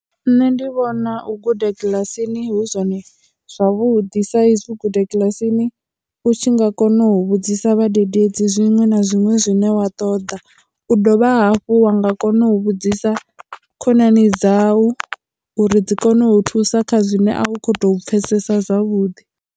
Nṋe ndi vhona u guda kiḽasini hu zwone zwavhuḓi sa izwi guda kiḽasini u tshi nga kona u vhudzisa vhadededzi zwiṅwe na zwiṅwe zwine wa ṱoḓa u dovha hafhu wa nga kona u vhudzisa khonani dzau uri dzi kone u thusa kha zwine a u kho to pfhesesa zwavhuḓi.